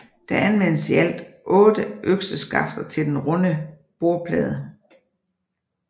Der anvendes i alt 8 økseskafter til den runde bordplade